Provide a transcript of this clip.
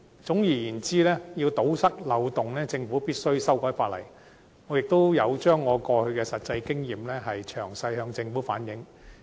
總而言之，要堵塞漏洞，政府必須修改法例，我也有把我的實際經驗詳細向政府反映。